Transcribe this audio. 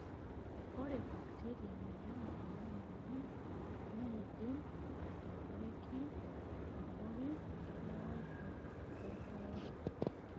Ore bakiteria nayau ena moyian neidim atadoiki abori elewaisho toolewa.